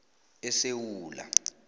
esewula